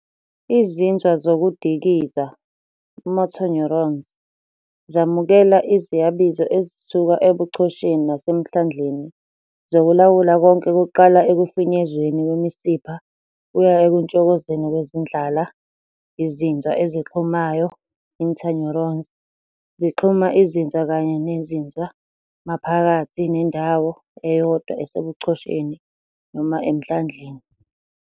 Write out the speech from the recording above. Izinzwa zokudikiza "motor neurons" zamukela iziyabizo ezisuka ebuchosheni nasemhlandleni zokulawula konke kuqala ekufinyezweni kwemisipha kuya ekutshokozeni kwezindlala. Izinzwa ezixhumayo "internuerons" zixhuma izinzwa kanye nezinzwa maphakathi nendawo eyodwa esebuchosheni nona emhlandleni.